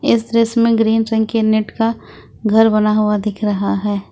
इस दृश्य में ग्रीन रंग के नेट का घर बना हुआ दिख रहा है।